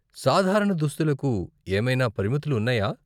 సాధారణ దుస్తులకు ఏమైనా పరిమితులు ఉన్నాయా?